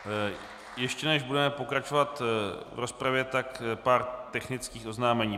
Ještě než budeme pokračovat v rozpravě, tak pár technických oznámení.